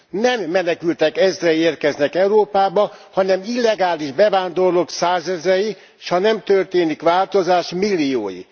Nem menekültek ezrei érkeznek Európába, hanem illegális bevándorlók százezrei, s ha nem történik változás, milliói.